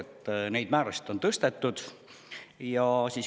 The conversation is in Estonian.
Nüüd on neid määrasid tõstetud.